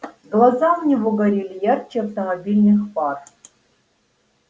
глаза у него горели ярче автомобильных фар